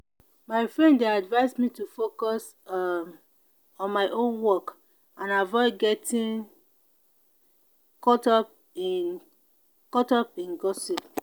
my friend dey advise me to focus um on my own work and avoid getting caught up in caught up in gossip.